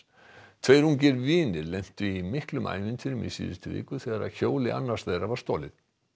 tveir ungir vinir lentu í miklum ævintýrum í síðustu viku þegar hjóli annars þeirra var stolið